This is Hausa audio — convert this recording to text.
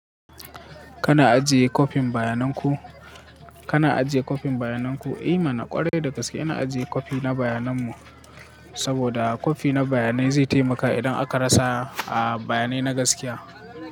Kana ajiye copy bayanan ku, kana ajiye copy bayanan ku. Eh mana ƙwarai da gaske ina ajiye copy na bayanan mu saboda kofi na bayanai zai taimaka idan aka rasa a bayanai na gaskiya.